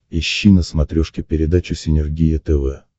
ищи на смотрешке передачу синергия тв